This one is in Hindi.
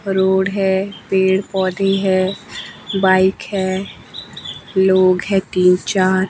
रोड है पेड़ पौधे है बाइक है लोग है तीन चार।